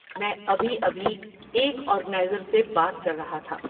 میں ابھی ابھی ایک آرگنائزر سے بات کر رہا تھا۔